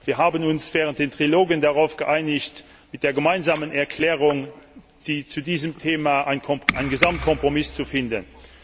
Wir haben uns während der Triloge darauf geeinigt, mit der Gemeinsamen Erklärung zu diesem Thema einen Gesamtkompromiss zu finden.